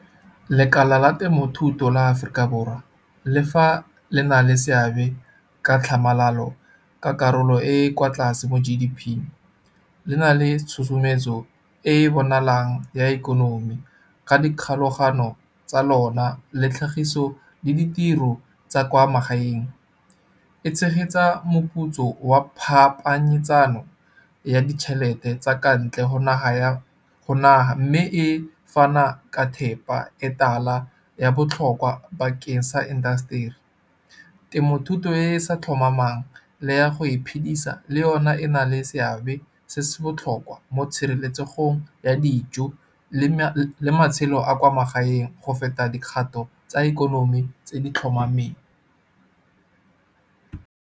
Lekala la temothuto la Aforika Borwa le fa le na le seabe ka tlhamalalo ka karolo e e kwa tlase mo G_D_P. Le na le tshosometso e e bonalang ya ikonomi, ka dikgolagano tsa lona le tlhagiso le ditiro tsa kwa magaeng. E tshegetsa moputso wa phapanyetsano ya ditšhelete tsa ka ntle go naga mme e fana ka thepa e tala ya botlhokwa bakeng sa indaseteri. Temothuto e e sa tlhomamang le ya go iphedisa le yona e na le se seabe se se botlhokwa, mo tshireletsego ya dijo le matshelo a kwa magaeng, go feta dikgato tsa ikonomi tse di tlhomameng.